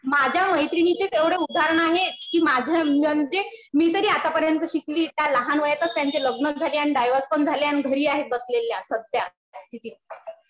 माझ्या मैत्रिणींचेच एवढे उदाहरणं आहेत. कि माझ्या म्हणजे मी तरी आता पर्यंत शिकलीये. त्या लहान वयातच त्यांचे लग्न झाले, डायव्होर्स पण झाला. आणि घरी आहे बसलेल्या सध्या स्थितीत.